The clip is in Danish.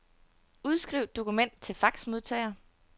Udskriv dokument til faxmodtager.